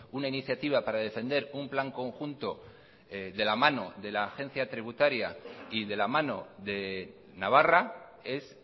una iniciativa para defender un plan conjunto de la mano de la agencia tributaria y de la mano de navarra es